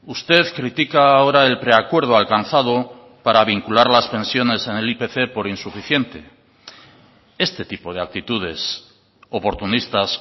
usted critica ahora el preacuerdo alcanzado para vincular las pensiones en el ipc por insuficiente este tipo de actitudes oportunistas